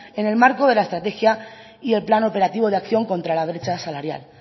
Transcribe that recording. en el marco de la estrategia y el plan operativo de acción contra la brecha salarial